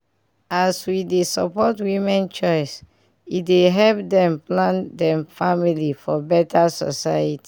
as we dey support women choice e dey help dem plan dem family for beta society